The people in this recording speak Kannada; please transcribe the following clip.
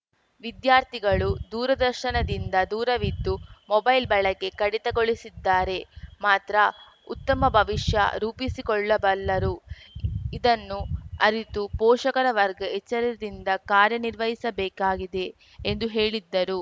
ವಿದ್ಯಾರ್ಥಿಗಳು ದೂರದರ್ಶನದಿಂದ ದೂರವಿದ್ದು ಮೊಬೈಲ್‌ ಬಳಕೆ ಕಡಿತಗೊಳಿಸಿದ್ದಾರೆ ಮಾತ್ರ ಉತ್ತಮ ಭವಿಷ್ಯ ರೂಪಿಸಿಕೊಳ್ಳಬಲ್ಲರು ಇದನ್ನು ಅರಿತು ಪೋಷಕರ ವರ್ಗ ಎಚ್ಚರದಿಂದ ಕಾರ್ಯ ನಿರ್ವಹಿಸಬೇಕಾಗಿದೆ ಎಂದು ಹೇಳಿದ್ದರು